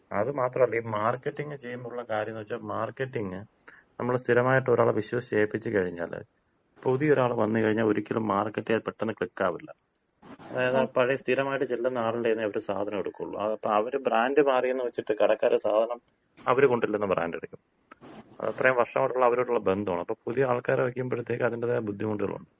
അത് മാത്രല്ല, ഈ മാർക്കറ്റിംഗ് ചെയ്യുമ്പോ ഉള്ള കാര്യംന്ന് വച്ചാ മാർക്കറ്റിംഗ്, നമ്മള് സ്ഥിരമായിട്ട് ഒരാളെ വിശ്വസിച്ച് ഏപ്പിച്ച് കഴിഞ്ഞാല് പുതിയൊരാള് വന്ന് കഴിഞ്ഞാ ഒരിക്കലും മാർക്കറ്റായിട്ട് പെട്ടെന്ന് ക്ലിക്കാവില്ല. അതായത് പഴയ സ്ഥിരമായിട്ട് ചെല്ലുന്ന ആളിന്‍റെ കയ്യിൽന്നേ അവര് സാധനെടുക്കുള്ളൂ. അവര് ബ്രാൻഡ് മാറിന്ന് വച്ചിട്ട് കടക്കാര് സാധനം അവര് കൊണ്ട്ചെല്ലുന്ന ബ്രാൻഡെടുക്കും. അതത്രയും വർഷായിട്ടുള്ള അവരുമായിട്ടുള്ള ബന്ധമാണ്. അപ്പൊ പുതിയ ആൾക്കാരെ വയ്ക്കുമ്പഴത്തേയ്ക്ക് അതിന്‍റെതായ ബുദ്ധിമുട്ടുകളൊണ്ട്.